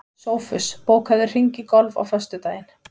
Sófus, bókaðu hring í golf á föstudaginn.